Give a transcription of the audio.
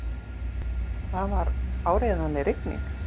Það var áreiðanlega rigning.